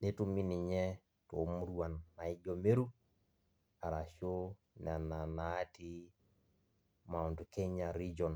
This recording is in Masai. netumi ninye tomuruan naijo meru ashu nona natii mount kenya region